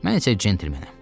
Mən isə centlmenəm.